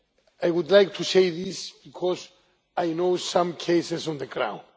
I would like to say this because I know some cases on the ground.